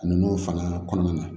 Ninnu fana kɔnɔna na